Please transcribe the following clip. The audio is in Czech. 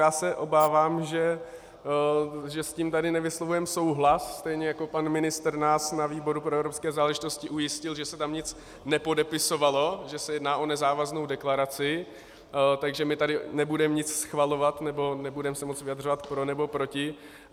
Já se obávám, že s tím tady nevyslovujeme souhlas, stejně jako pan ministr nás na výboru pro evropské záležitosti ujistil, že se tam nic nepodepisovalo, že se jedná o nezávaznou deklaraci, takže my tady nebudeme nic schvalovat nebo nebudeme se moct vyjadřovat pro nebo proti.